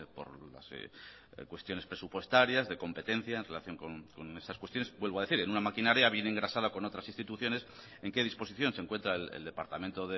por cuestiones presupuestarias de competencia en relación con esas cuestiones vuelvo a decir en una maquinaria bien engrasada con otras instituciones en qué disposición se encuentra el departamento